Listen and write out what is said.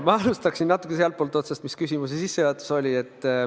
Ma alustaksin sealtpoolt otsast, kus küsimuse sissejuhatus oli.